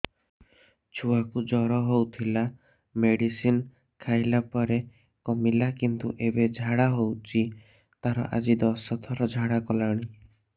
ଛୁଆ କୁ ଜର ହଉଥିଲା ମେଡିସିନ ଖାଇଲା ପରେ କମିଲା କିନ୍ତୁ ଏବେ ଝାଡା ହଉଚି ତାର ଆଜି ଦଶ ଥର ଝାଡା କଲାଣି